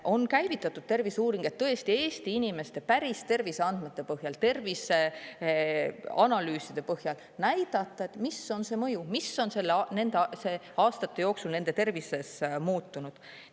On käivitatud terviseuuring, et tõesti Eesti inimeste päris terviseandmete põhjal, terviseanalüüside põhjal näidata, mis on see mõju, mis on nende aastate jooksul nende tervises muutunud.